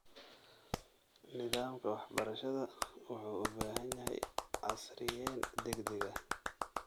Nidaamka waxbarashada wuxuu u baahan yahay casriyeyn degdeg ah.